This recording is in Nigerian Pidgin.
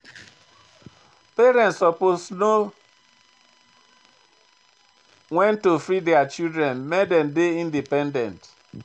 Parents suppose know wen to free their children make dem dey independent.